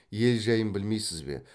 ел жәйін білмейсіз бе